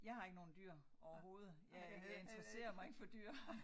Jeg har ikke nogen dyr overhovedet. Jeg jeg interesserer mig ikke for dyr